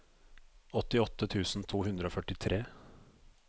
åttiåtte tusen to hundre og førtitre